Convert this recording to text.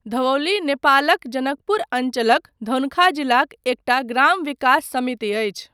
धवौली नेपालक जनकपुर अञ्चलक धनुषा जिलाक एकटा ग्राम विकास समिति अछि।